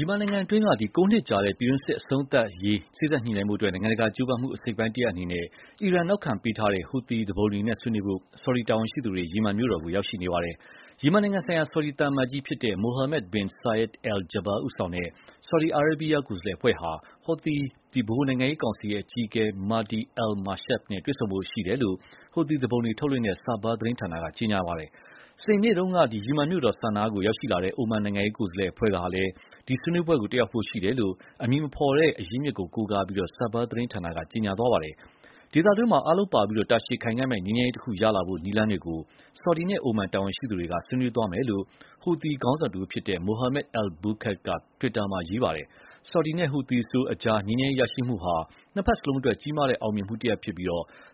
ီမင်နိုင်ငံတွင်း ၉ နှစ်ကြာပြည်တွင်းစစ်အဆုံးသတ်ရေး စေ့စပ်ညှိနှိုင်းဖို့ နိုင်ငံတကာကြိုးပမ်းမှု အစိတ်အပိုင်းတရပ်အနေနဲ့ အီရန်နောက်ခံပေးထားတဲ့ Houti သူပုန်တွေနဲ့ဆွေးနွေးဖို့ ဆော်ဒီတာဝန်ရှိသူတွေ ယီမင်မြို့တော်ကို ရောက်ရှိနေပါတယ်။ ယီမင်နိုင်ငံဆိုင်ရာ ဆော်ဒီသံအမတ်ကြီး Mohammed bin Saeed Al-Jaber ဦးဆောင်တဲ့ ဆော်ဒီအာရေးဗီးယား ကိုယ်စားလှယ်အဖွဲ့ဟာ Houthi ဗဟိုနိုင်ငံရေးကောင်စီအကြီးအကဲ Mahdi al-Mashat နဲ့ တွေ့ဆုံဆွေးနွေးဖို့ရှိတယ်လို့ Houti သူပုန်တွေထုတ်လွှင့်တဲ့ SABA သတင်းဌာနက ကြေညာပါတယ်။ စနေနေ့တုန်းက ယီမင်မြို့တော် Sannaa ကို ရောက်ရှိလာတဲ့ အိုမန်နိုင်ငံကိုယ်စားလှယ်အဖွဲ့ကလည်း ဒီဆွေးနွေးပွဲတက်ဖို့ရှိတယ်လို့ အမည်မဖော်တဲ့အရင်းအမြစ်ကို ကိုးကားပြီး SABA သတင်းဌာနက ကြေညာသွားပါတယ်။ ဒေသတွင်း အားလုံးပါဝင်ပြီး တာရှည်ခိုင်ခံမယ့် ငြိမ်းချမ်းရေးတခုရလာဖို့နည်းလမ်းတွေကို ဆော်ဒီနဲ့ အိုမန် တာဝန်ရှိသူတွေနဲ့ ဆွေးနွေးသွားမယ်လို့ Houti ခေါင်းဆောင်တဦးဖြစ်တဲ့ Mohammed al-Bukait က တွစ်တာမှာရေးသားပါတယ်။ ဆော်ဒီနဲ့ Houthis ကြား ငြိမ်းချမ်းရေးရရှိမှုဟာ နှစ်ဘက်လုံးအတွက် ကြီးမားတဲ့အောင်မြင်မှုဖြစ်ပြီး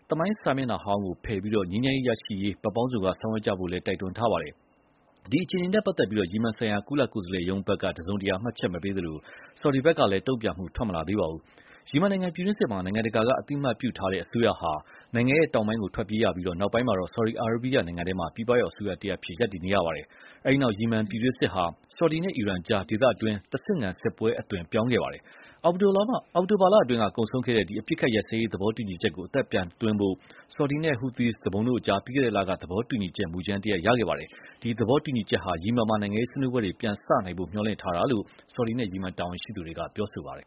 သမိုင်းစာမျက်နှာဟောင်းကိုဖယ်ပြီး ငြိမ်းချမ်းရေးရရှိရေး ဘက်ပေါင်းစုံက ဆောင်ရွက်ကြဖို့ကိုလည်း တိုက်တွန်းထားပါတယ်။ ဒီအခြေအနေနဲ့ ပတ်သက်လို့ ယီမင်ဆိုင်ရာ ကုလကိုယ်စားလှယ်ရုံးဘက်က တစုံတရာမှတ်ချက်မပေးသလို ဆော်ဒီဘက်ကလည်း တုံ့ပြန်မှု ထွက်မလာသေးပါဘူး။ ယီမင်နိုင်ငံပြည်တွင်းစစ်မှာ နိုင်ငံတကာက အသိအမှတ်ပြုထားတဲ့အစိုးရဟာ နိုင်ငံတောင်ပိုင်းကို ထွက်ပြေးရပြီး နောက်ပိုင်း ဆော်ဒီအာရေးဗီးယားနိုင်ငံထဲမှာ ပြည်ပရောက်အစိုးရအဖြစ် ရပ်တည်နေတာပါ။ အဲဒီနောက် ယီမန်ပြည်တွင်းစစ်ဟာ ဆော်ဒီနဲ့ အီရန်ကြား ဒေသတွင်း တဆင့်ခံစစ်ပွဲအသွင် ပြောင်းလာခဲ့ပါတယ်။ အောက်တိုဘာလမှာကုန်ဆုံးခဲ့တဲ့ အပစ်အခတ်ရပ်စဲရေးသဘောတူညီချက်ကို အသက်ပြန်သွင်းဖို့ ဆော်ဒီနဲ့ Houthis တို့ကြား ပြီးခဲ့တဲ့လက သဘောတူညီချက်မူကြမ်းတရပ်ရခဲ့ပါတယ်။ ဒီ သဘောတူညီချက်ဟာ ယီမင်မှာ နိုင်ငံရေးဆွေးနွေးပွဲတွေပြန်စနိုင်ဖို့ မျှော်လင့်ထားတာလို့ ဆော်ဒီနဲ့ ယီမင်တာဝန်ရှိသူတွေက ပြောထားပါတယ်